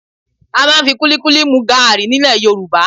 À máa ń fi kúlíkúlí mu gaàrí ní ilẹ̀ Yorùbá